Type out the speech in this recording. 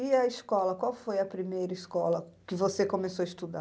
E a escola, qual foi a primeira escola que você começou a estudar?